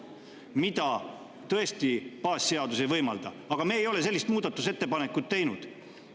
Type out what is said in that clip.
Seda tõesti baasseadus ei võimalda, aga me ei ole sellist muudatusettepanekut teinud.